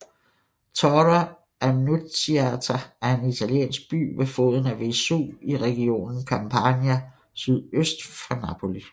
Torre Annunziata er en italiensk by ved foden af Vesuv i regionen Campania sydøst for Napoli